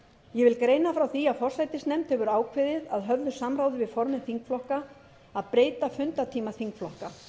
ég vil greina frá því að forsætisnefnd hefur ákveðið að höfðu samráði við formenn þingflokka að breyta fundartíma þingflokka